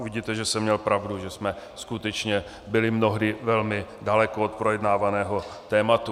Uvidíte, že jsem měl pravdu, že jsme skutečně byli mnohdy velmi daleko od projednávaného tématu.